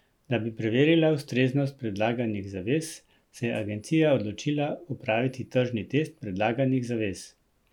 Da bi preverila ustreznost predlaganih zavez, se je Agencija odločila opraviti tržni test predlaganih zavez.